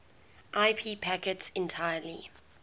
ip packets entirely